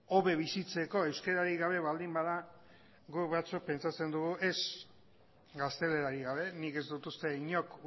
hobe bizitzeko euskararik gabe baldin bada guk batzuk pentsatzen dugu ez gaztelerarik gabe nik ez dut uste inork